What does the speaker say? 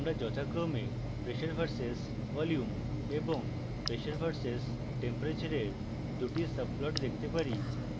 আমরা যথাক্রমে pressure v/s volume এবং pressure v/s temperature we দুটি subplot দেখতে পারি